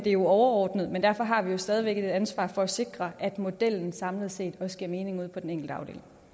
er jo overordnet men derfor har vi stadig væk et ansvar for at sikre at modellen samlet set også giver mening ude på den enkelte